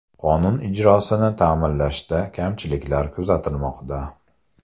Qonun ijrosini ta’minlashda kamchiliklar kuzatilmoqda.